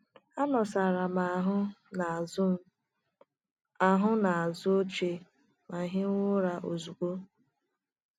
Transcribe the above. Anọsara m ahụ n’azụ m ahụ n’azụ oche ma hiwe ụra ozugbo.